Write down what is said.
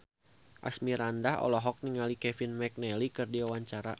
Asmirandah olohok ningali Kevin McNally keur diwawancara